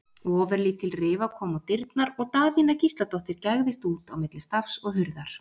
Ofurlítil rifa kom á dyrnar og Daðína Gísladóttir gægðist út á milli stafs og hurðar.